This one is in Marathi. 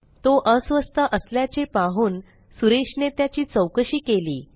तो अस्वस्थ असल्याचे पाहून सुरेशने त्याची चौकशी केली